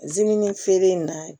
Zimini feere in na